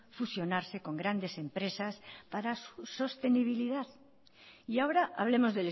fusionarse con grandes empresas para sus sostenibilidad y ahora hablemos